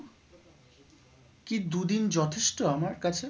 কি দু দিন যথেষ্ট আমার কাছে?